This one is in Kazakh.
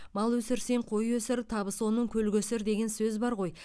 мал өсірсең қой өсір табысы оның көл көсір деген сөз бар ғой